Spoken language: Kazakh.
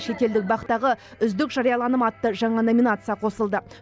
шетелдік бақ тағы үздік жарияланым атты жаңа номинация қосылды